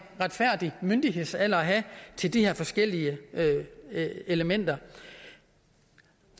retfærdig myndighedsalder at have til de her forskellige elementer